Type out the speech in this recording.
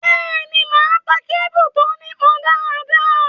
Bẹ́ẹ̀ ni, màá ta kébù tó nípọ dáadáa.